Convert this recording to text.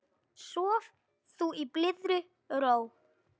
Sof þú í blíðri ró.